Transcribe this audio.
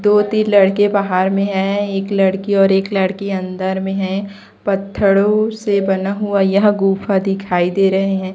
दो तीन लड़के बाहर में हैं एक लड़की और एक लड़की अंदर में हैं पत्थरों से बना हुआ यह गुफा दिखाई दे रहे हैं।